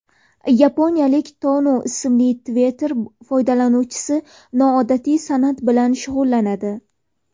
Yaponiyalik Tanu ismli Twitter foydalanuvchisi noodatiy san’at bilan shug‘ullanadi.